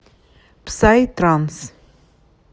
псай транс